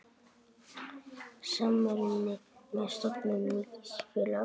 Samruni með stofnun nýs félags.